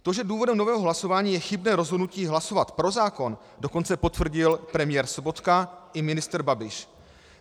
To, že důvodem nového hlasování je chybné rozhodnutí hlasovat pro zákon, dokonce potvrdil premiér Sobotka i ministr Babiš.